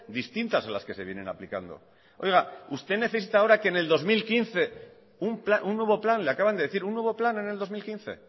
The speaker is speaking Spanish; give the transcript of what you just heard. distintas a las que se vienen aplicando usted necesita ahora que en el dos mil quince un nuevo plan le acaban de decir un nuevo plan en el dos mil quince